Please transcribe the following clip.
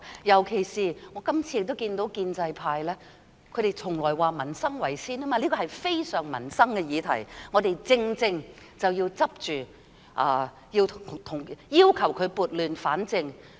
尤其是我今次亦看到建制派......他們向來說以民生為先，而這是非常關乎民生的議題；我們正正要抓緊，要求她撥亂反正。